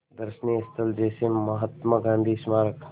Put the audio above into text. दर्शनीय स्थल जैसे महात्मा गांधी स्मारक